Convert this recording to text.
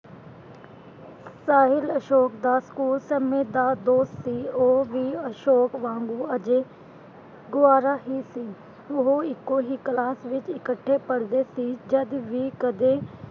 ਸਾਹਿਲ ਅਸ਼ੋਕ ਦਾ ਸਕੂਲ ਸਮੇਂ ਦਾ ਦੋਸਤ ਸੀ, ਉਹ ਵੀ ਅਸ਼ੋਕ ਵਾਂਗੂੰ ਅਜੇ ਕੁਆਰਾ ਹੀ ਸੀ, ਉਹ ਇੱਕੋ ਹੀ ਕਲਾਸ ਵਿਚ ਇਕੱਠੇ ਪੜ੍ਹਦੇ ਸੀ ਜਦ ਵੀ ਕਦੇ,